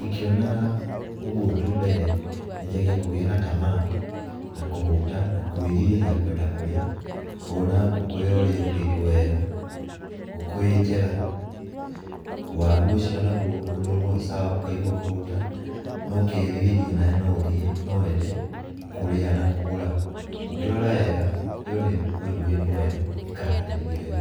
Ingĩona ũguo tu direct nyanjagia kũgĩa na tamaa na kũhũta na kwĩrirĩria kwenda kũrĩa. Ngona ngũkũ ĩyo ũrĩa ĩrugĩtwo wega, ngũkũ ĩĩ njega, waru ũcio naguo ũrĩ sawa ũkaigua kũhũta na ũkerirĩria nawe no ũthiĩ, no wende kũrĩa na kũgũra. Ũngĩrora wega ĩyo nĩ ngũkũ ĩrugĩtwo wega ĩkaharĩrĩrio wega.